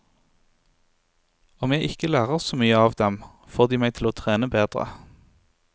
Om jeg ikke lærer så mye av dem, får de meg til å trene bedre.